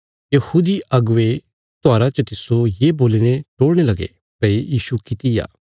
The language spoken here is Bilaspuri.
यहूदी अगुवे त्योहारा च तिस्सो ये बोलीने टोल़णे लगे भई यीशु किति आ